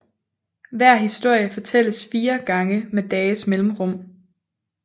Hver historie fortælles fire gange med dages mellemrum